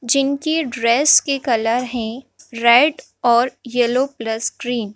जिनकी ड्रेस के कलर हैं रेड और येलो प्लस ग्रीन ।